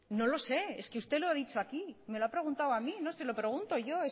no lo sé es que usted lo ha dicho aquí me lo ha preguntado a mí no se lo pregunto yo